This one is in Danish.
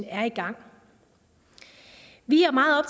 er i gang vi er meget